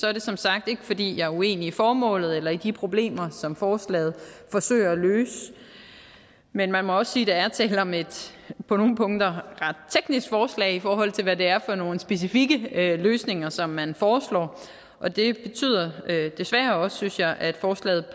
er det som sagt ikke fordi jeg er uenig i formålet eller i de problemer som forslaget forsøger at løse men man må også sige at der er tale om et på nogle punkter ret teknisk forslag i forhold til hvad det er for nogle specifikke løsninger som man foreslår og det betyder desværre også synes jeg at forslaget